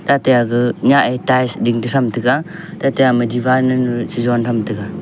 tate ama nyah e tails ding toh tham tega tete ama diwar nunu chi jont tham tega.